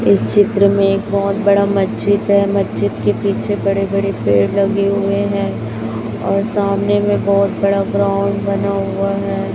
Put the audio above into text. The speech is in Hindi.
इस चित्र में एक बहोत बड़ा मस्जिद है मस्जिद के पीछे बड़े बड़े पेड़ लगे हुए हैं और सामने में बहोत बड़ा ग्राउंड बना हुआ है।